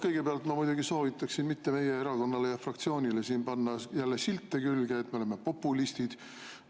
Kõigepealt ma muidugi soovitan mitte panna meie erakonnale ja fraktsioonile siin jälle külge silte, et me oleme populistid.